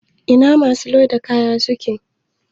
Ina masu loda kaya suke?